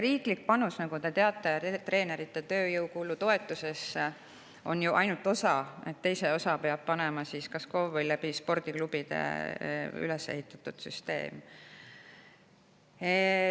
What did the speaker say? Riigi panus, nagu te teate, treeneri tööjõukulu toetusesse, on ju ainult osa sellest, teise osa peab panema kas KOV või spordiklubide kaudu üles ehitatud süsteem.